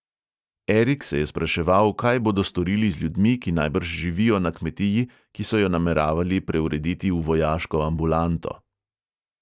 Erik se je spraševal, kaj bodo storili z ljudmi, ki najbrž živijo na kmetiji, ki so jo nameravali preurediti v vojaško ambulanto.